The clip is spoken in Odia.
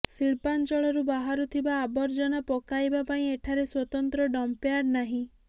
ଶିଳ୍ପାଞ୍ଚଳରୁ ବାହାରୁଥିବା ଆବର୍ଜନା ପକାଇବା ପାଇଁ ଏଠାରେ ସ୍ବତନ୍ତ୍ର ଡର୍ମ୍ପିଂୟାର୍ଡ ନାହିଁ